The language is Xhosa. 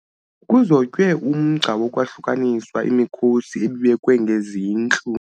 Kuzotywe umgca wokwahlukanisa imikhosi ebibekwe ngezintlu.